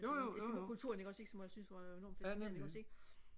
eskimokulturen ikke også ikke som jeg synes var enorm fascinerende ikke også ikke